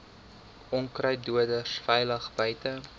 onkruiddoders veilig buite